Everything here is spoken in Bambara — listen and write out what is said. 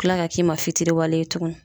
Kila ka k'i ma fitiriwale ye tukuni.